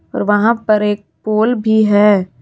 और वहां पर एक पोल भी है।